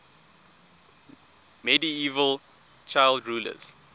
medieval child rulers